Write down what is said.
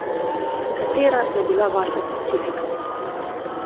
Katera je bila vaša specifika?